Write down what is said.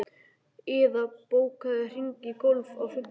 Iða, bókaðu hring í golf á fimmtudaginn.